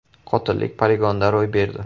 Qotillik poligonda ro‘y berdi.